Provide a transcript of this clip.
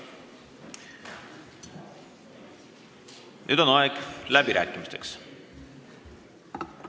Nüüd on aeg läbirääkimisteks.